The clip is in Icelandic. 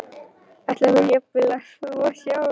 Ætlaði hún jafnvel að þvo sjálf?